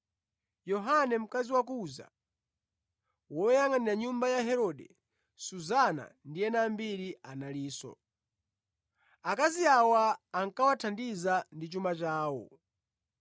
Yohana mkazi wa Kuza, woyangʼanira mʼnyumba ya Herode; Suzana; ndi ena ambiri analinso. Akazi awa ankawathandiza ndi chuma chawo.